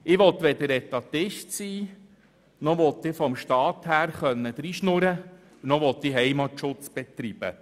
Ich will weder Etatist sein noch will ich von Seiten des Staats dreinreden noch will ich Heimatschutz betreiben.